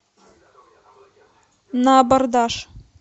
на абордаж